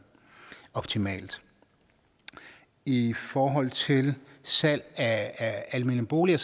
optimalt i forhold til salg af almene boliger